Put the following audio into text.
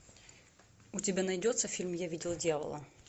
у тебя найдется фильм я видел дьявола